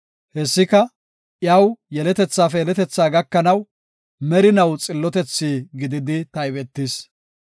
Hessika, iyaw, yeletethaafe yeletethaa gakanaw merinaw xillotetha gididi taybetis.